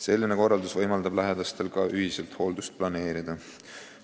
Selline korraldus võimaldab lähedastel ka ühiselt hooldust planeerida.